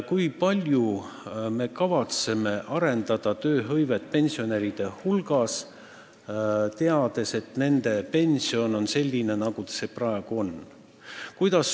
Kui palju me kavatseme arendada tööhõivet pensionäride hulgas, teades, et nende pension on selline, nagu see praegu on?